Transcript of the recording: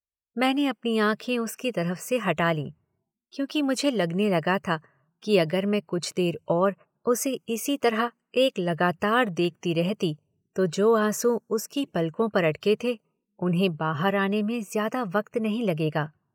मैने अपनी आंखें उसकी तरफ़ से हटा लीं क्योंकि मुझे लगने लगा था कि अगर मैं कुछ देर और उसे इसी तरह एक लगातार देखती रहती तो जो आँसू उसकी पलकों पर अटके थे उन्हें बाहर आने में ज़्यादा वक्त नहीं लगेगा।